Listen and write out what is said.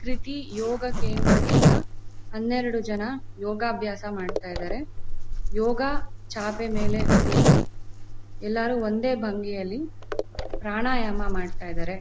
ಕೃತಿ ಯೋಗ ಕೇಂದ್ರದಿಂದ ಹನ್ನೆರಡು ಜನ ಯೋಗಾಭ್ಯಾಸ ಮಾಡ್ತಾ ಇದ್ದಾರೆ ಯೋಗ ಚಾಪೆ ಮೇಲೆ ಕೂತು ಎಲ್ಲರು ಒಂದೇ ಭಂಗಿಯಲ್ಲಿ ಪ್ರಾಣಾಯಾಮ ಮಾಡ್ತಾ ಇದ್ದಾರೆ.